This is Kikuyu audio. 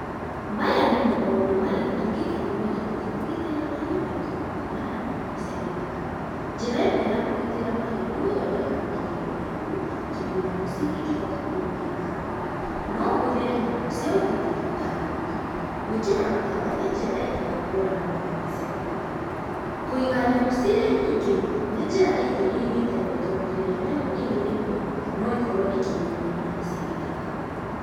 Maya nĩmo maũndũ marĩa tũngĩka nĩguo tũhote kũgitĩra mahiũ maitũ kuumana na nyamũ cia gĩthaka. Njĩra ĩmwe ya kũgitĩra mahiũ nĩ gũthondeka rũgiri rũraihu, tondũ nyamũ citingĩhota kũrũgĩra hau. No ũhũthĩre nyamũ cia ũgitĩri ta ngui. Gwĩkĩra matawa nĩ njĩra ĩngĩ ya kũhũrana na nyamũ cia gĩthaka. Kũiga nyamũ cirĩ nyingĩ nĩ njĩra ĩngĩ ĩngĩteithia tondũ rĩrĩa nyamũ ĩrĩ ĩmwe, no ĩkorwo ĩkĩrĩo nĩ nyamũ cia gĩthaka.